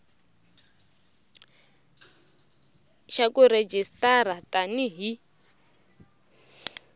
xa ku rejistara tani hi